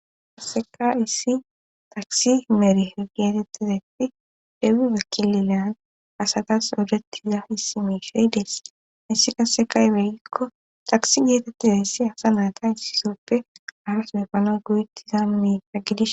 Qasseka issi takisi merihe geetettizayti deebube kililan asatas odetiza issi meshey dees. issi qaseka aybee gikko takisi geetettizayssi asa naata issisooppe harasune epanawu go'etitizan miishsha gidishin.